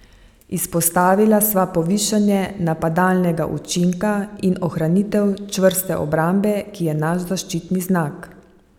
Izpostavila sva povišanje napadalnega učinka in ohranitev čvrste obrambe, ki je naš zaščitni znak.